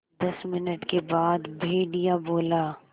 दस मिनट के बाद भेड़िया बोला